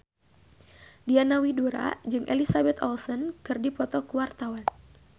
Diana Widoera jeung Elizabeth Olsen keur dipoto ku wartawan